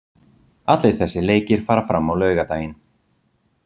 Allir þessir leikir fara fram á laugardaginn.